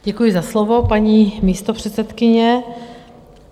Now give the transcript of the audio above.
Děkuji za slovo, paní místopředsedkyně.